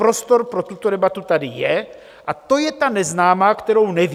Prostor pro tuto debatu tady je a to je ta neznámá, kterou nevím.